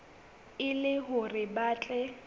e le hore ba tle